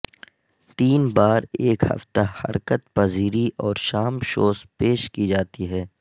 تین بار ایک ہفتہ حرکت پذیری اور شام شوز پیش کی جاتی ہے